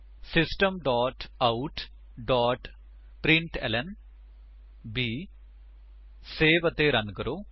system dot out dot println 160 save ਅਤੇ run ਕਰੋ